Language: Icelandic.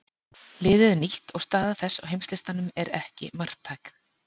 Liðið er nýtt og staða þess á heimslistanum er ekki marktæk.